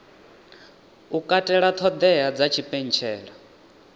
u katela ṱhoḓea dza tshipentshela